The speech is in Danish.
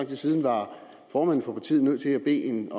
tid siden var formanden for partiet nødt til at bede